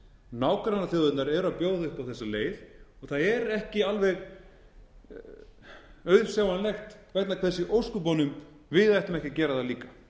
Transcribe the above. nágrannaþjóðirnar eru að bjóða upp á þessa leið og það er ekki alveg auðsjáanlegt hvers vegna í ósköpunum við ættum ekki að gera það líka